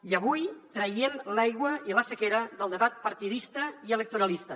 i avui traiem l’aigua i la sequera del debat partidista i electoralista